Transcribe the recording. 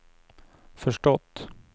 förstått